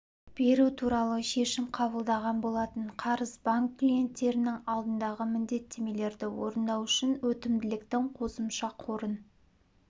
беру туралы шешім қабылдаған болатын қарыз банк клиенттерінің алдындағы міндеттемелерді орындау үшін өтімділіктің қосымша қорын